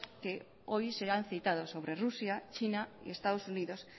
que hoy se han citado sobre rusia china y estados unidos